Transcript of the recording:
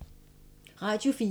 Radio 4